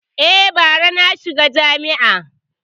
E, bara na shiga jami’a.